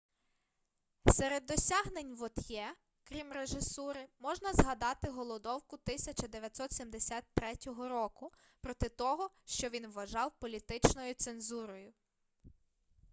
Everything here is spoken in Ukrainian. серед досягнень вот'є крім режисури можна згадати голодовку 1973 року проти того що він вважав політичною цензурою